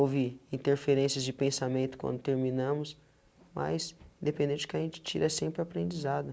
Houve interferências de pensamento quando terminamos, mas, independente de que a gente tira, é sempre aprendizado.